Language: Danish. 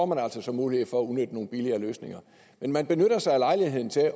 man altså så mulighed for at udnytte nogle billigere løsninger men man benytter sig af lejligheden til at